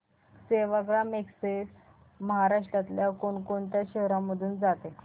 Sevagram express महाराष्ट्रातल्या कोण कोणत्या शहरांमधून जाते